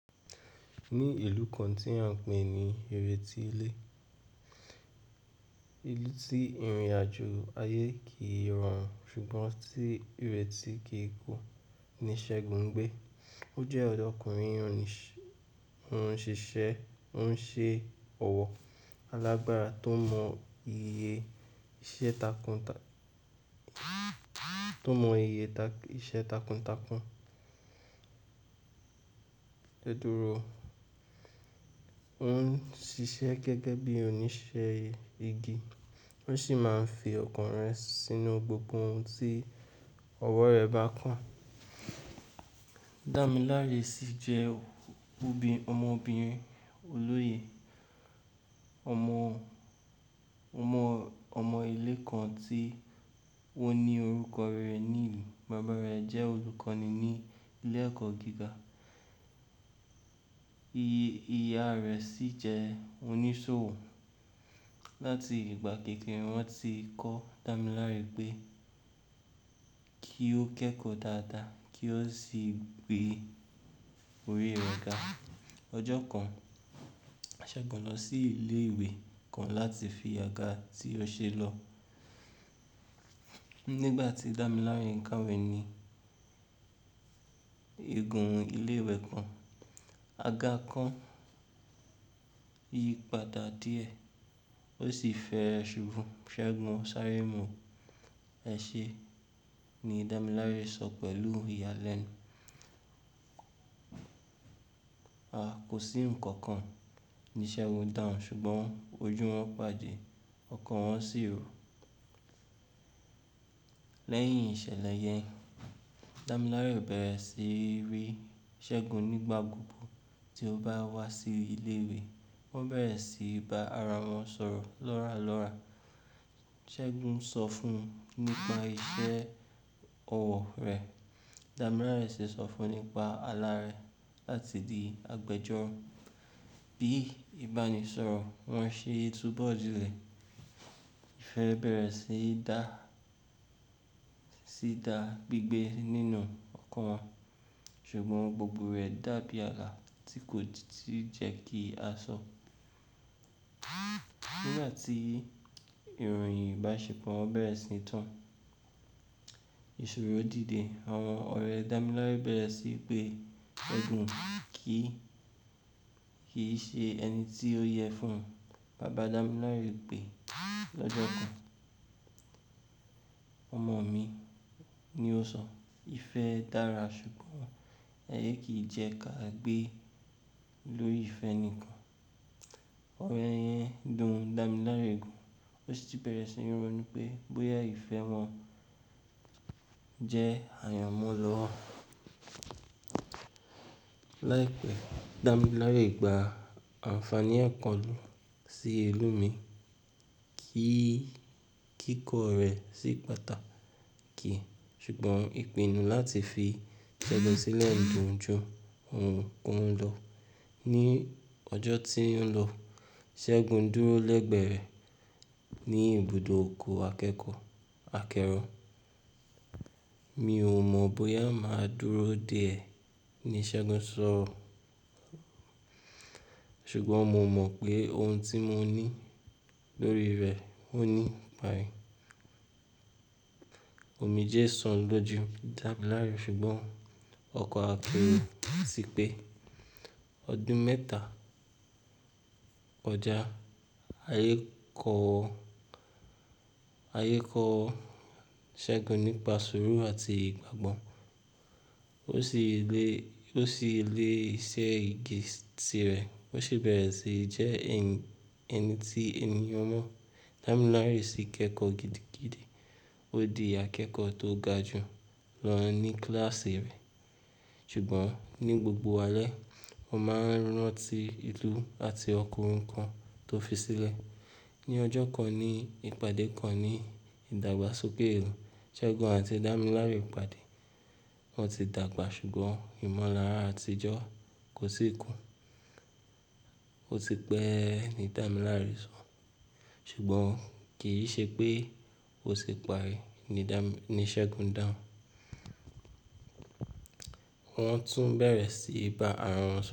Ní ìlú kan tí wọ́n ń pè ní Ireti Ilé. Ìlú tí ìrìnàjò ayé kì í rọrùn ṣùgbọ́n tí ireti kì í ku. Ni Ṣẹ́gun ń gbé. Ó jẹ́ ọ̀dọ́kùnrin oníṣ-- òun ṣiṣẹ́, òun ṣe ọ̀wọ́ alágbara tó mọ iye iṣẹ́ takun takun. Tó mọ iye iṣẹ́ takun takun. Tẹ́dùró, òun ń ṣiṣẹ́ gẹ́gẹ́ bí oníṣẹ́ igi, ó sì máa ń fi ọkàn rẹ̀ sínú gbogbo ohun tí ọwọ́ rẹ̀ bá kàn. Damilare sì jẹ́ obinrin---ọmọbìnrin olóye, ọmọ, ọmọ, ọmọ ilé kan tí ó ní orúkọ rere ní ìlú. Bàbá rẹ̀ jẹ́ olùkọ́ni ní ilé ẹ̀kọ́ gíga, ìyá rẹ̀ sì jẹ́ oníṣòwò. Láti ìgbà kékeré wọ́n ti ń kọ́ Damilare pé kí ó kẹ́kọ̀ọ́ dáadáa kí ó sì gbé orí rẹ̀ ga. Ọjọ́ kan, a ṣẹ́gun lọ sí ilé ìwé kan láti fi àga tí ó ṣe lọ. Nígbà tí Damilare ń ká iwe ni egun ilé ìwé kan, àga kan yí padà díẹ̀ ó sì fẹ́ ẹ ṣubú. "Ṣẹ́gun, sáré mu ẹ ṣe!" ni Damilare sọ pẹ̀lú iyalenu "A, kò sí ǹkan kan," ni Ṣẹ́gun dáhùn, ṣùgbọ́n ojú wọn pàdé, ọkàn wọn sì ro. Lẹ́yìn ìṣẹ̀lẹ̀ yẹn, Damilare bẹ̀rẹ̀ sí í rí Ṣẹ́gun nígbà gbogbo tí ó bá wá sí ilé ìwé. Wọ́n bẹ̀rẹ̀ sí í ba ara wọn sọ̀rọ̀ lóra lọ́ra. Ṣẹ́gun ń sọ fún un nípa iṣẹ́ ọwọ́ rẹ̀, Damilare sì ń sọ fún un nípa ala rẹ̀ láti di agbẹjọ́ro. Bí i ìbánisọ̀rọ̀ wọn ṣe túbọ̀ dìlẹ̀, ìfẹ́ bẹ̀rẹ̀ sí dá, sí dá gbígbé nínú ọkàn wọn ṣùgbọ́n gbogbo rẹ̀ dàbí ààlà tí kò tí jẹ́ kí a sọ. Nígbà tí iròyìn ìbáṣepọ̀ bẹ̀rẹ̀ síi tán, ìṣòro dìde. Àwọn ọ̀rẹ́ Damilare bẹ̀rẹ̀ sí í pe Ẹ̀gún kì-- ki í ṣe ẹni tí ó yẹ fún un. Bàbá Damilare pè é lọ́jọ́ kan. "Ọmọ mi," ni ó sọ. "Ìfẹ́ dára ṣùgbọ́n aiye kí jẹ́ ká gbé lórí ìfẹ́ nìkan." Ọ̀ro ẹn dùn Damilare gan ó sì bẹ̀rẹ̀ sí ní ronú pé bóyá ìfẹ́ wọn jẹ́ àyànmọ́ lọ́wọ́. Láìpẹ́, Damilare gba àǹfàní ẹ̀kọ́ si ilu mu, kí kíkọ́ rẹ̀ sí pàtàkì ṣùgbọ́n ìpinnu láti fi Ṣẹ́gun sílẹ̀ dùn ju ohunkohun lọ. Ni ọjọ́ tí ń lọ, Ṣẹ́gun dúró lẹ́gbẹ̀ẹ́ rẹ̀ ní ibùdó òkòọ̀ akẹ́kọ̀ọ́ akẹ́rọ. "Mi ò mọ̀ bóyá màá dúró dé ẹ," ni Ṣẹ́gun sọ. "Ṣùgbọ́n mo mọ̀ pé ohun tí mo ní lórí rẹ ò ní pare." Òmíjé san lọ́ju Damilare ṣùgbọ́n ọkọ̀ akẹ́ro ti pe Ọdún mẹ́ta kọjà, ayé kọ́, ayé kọ́ Ṣẹ́gun nípa sùúrù àti ìgbàgbọ́. Ó sì lé, ó sì lé iṣẹ́ igi tirẹ̀. Ó sì bẹ̀rẹ̀ sí jẹ́ ẹni tí ènìyàn mọ̀. Damilare sì kẹ́kọ̀ọ́ gidi gidi. Ó di akẹ́kọ̀ọ́ tó ga jù lọ ní kíláàsì rẹ̀ ṣùgbọ́n ní gbogbo alẹ́, ó máa ń rántí ìlú àti ọkùnrin kan tó fi sílẹ̀. Ni ọjọ́ kan ní ìpàdé kan ní ìdàgbàsókè èrò, Ṣẹ́gun àti Damilare pàdé. Wọ́n ti dàgbà ṣùgbọ́n ìmọ̀lára àtijọ́ kò ti kú. "O ti pẹ́," ni Damilare sọ. "Ṣùgbọ́n kì í ṣe pé o sì parí," ni Dami-- Ṣẹ́gun dáhùn. Wọ́n tún bẹ̀rẹ̀ sí í bá ara wọn sọ̀rọ̀